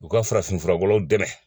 U ka farafinfura wɛrɛw dɛmɛ